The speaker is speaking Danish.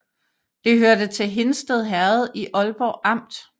Det hørte til Hindsted Herred i Ålborg Amt